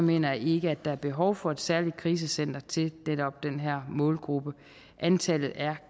mener jeg ikke at der er behov for et særligt sit krisecenter til netop den her målgruppe antallet er